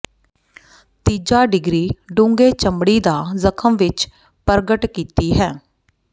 ਤੀਜਾ ਡਿਗਰੀ ਡੂੰਘੇ ਚਮੜੀ ਦਾ ਜਖਮ ਵਿੱਚ ਪ੍ਰਗਟ ਕੀਤੀ ਹੈ